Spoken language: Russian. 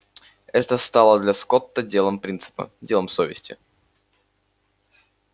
это стало для скотта делом принципа делом совести